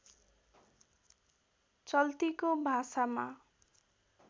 चल्तीको भाषामा